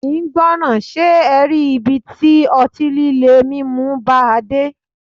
Kì ń gbọràn, ṣe e rí ibi tí ọtí líle mímu bàa dé.